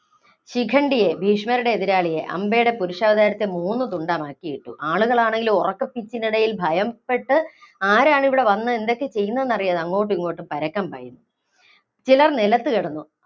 ശിഖണ്ഡിയെ ഭീഷ്മരുടെ എതിരാളിയെ, അംബയുടെ പുരുഷാവതാരത്തെ മൂന്നു തുണ്ടമാക്കിയിട്ടു. ആളുകളാണേലോ ഉറക്കപ്പിച്ചിനിടയില്‍ ഭയപ്പെട്ട്, ആരാണിവിടെ വന്ന് എന്തൊക്കെ ചെയ്യുന്നതെന്നറിയാതെ അങ്ങോട്ടും ഇങ്ങോട്ടും പരക്കം പായുകയാണ്. ചിലര്‍ നിലത്തു കിടന്നു.